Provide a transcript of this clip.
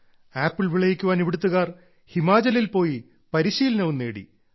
apple വിളയിക്കാൻ ഇവിടത്തുകാർ ഹിമാചലിൽ പോയി പരിശീലനവും നേടി